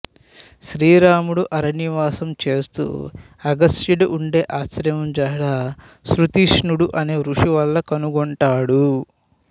శ్రీ రాముడు అరణ్యవాసం చేస్తూ అగస్త్యుడు ఉండే ఆశ్రమం జాడ సుతీష్ణుడు అనే ఋషి వల్ల కనుగొంటాడు